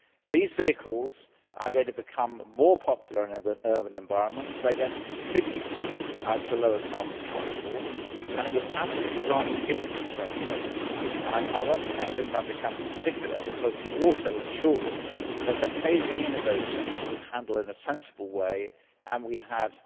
These vehicles are going to become more popular in urban environments and contribute to lower carbon transport, and it was absolutely right to give them this framework. I want to thank Wim van de Camp in particular, because he also ensured that the phasing in of those changes is handled in a sensible way and that we have